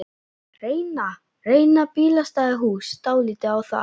Reyna, reyna bílastæðahús dálítið á það?